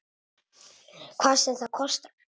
Hvað sem það kostar.